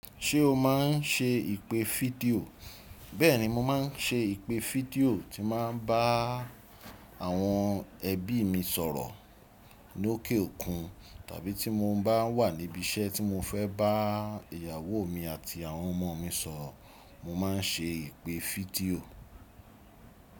Ṣé o má n ṣe ìpè fídíò? Bẹ́ẹ̀ni, mo má n ṣe ìpè fídíò tí má n bá àwọn ẹbí mi sọ̀rọ̀ lóké òkun tàbí tí mo bá wà níbi iṣẹ́ tí mo fẹ́ bá ìyàwó mi àti àwọn ọmọ mi sọ̀rọ̀ mo má n ṣe ìpè fídíò.